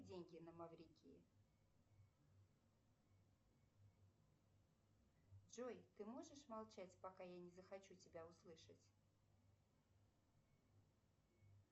деньги на маврикии джой ты можешь молчать пока я не захочу тебя услышать